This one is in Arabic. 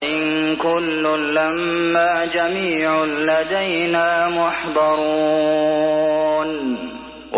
وَإِن كُلٌّ لَّمَّا جَمِيعٌ لَّدَيْنَا مُحْضَرُونَ